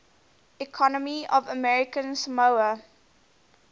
economy of american samoa